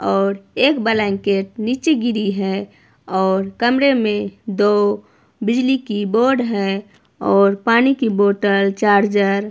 और एक ब्लैंकेट नीचे गिरी है और कमरे में दो बिजली की बोर्ड हैं और पानी की बॉटल चार्जर --